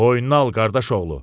Boynuna al qardaşoğlu!